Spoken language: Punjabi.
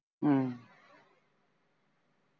ਅਮ